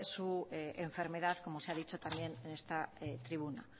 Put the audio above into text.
su enfermedad como se ha dicho también en esta tribuna